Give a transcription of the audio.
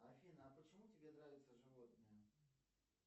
афина а почему тебе нравятся животные